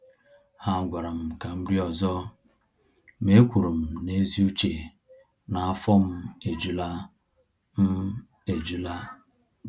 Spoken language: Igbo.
Ha gwara m ka m rie ọzọ, ma e kwuru m n’ezi uche na af ọ m ejula. m ejula.